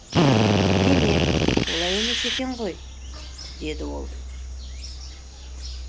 демек олай емес екен ғой деді ол